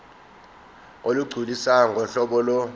olugculisayo ngohlobo lo